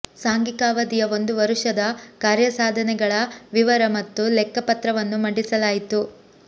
ಸಾಂಘಿಕ ಅವಧಿಯ ಒಂದು ವರುಷದ ಕಾರ್ಯಸಾಧನೆಗಳ ವಿವರ ಮತ್ತು ಲೆಕ್ಕ ಪತ್ರವನ್ನು ಮಂಡಿಸಲಾಯಿತು